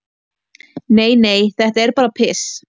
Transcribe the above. """Nei, nei, þetta er bara piss."""